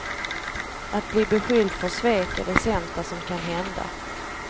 Att bli beskylld för svek är det sämsta som kan hända.